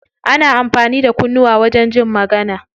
Ana amfani da kunnuwa wajen jin magana.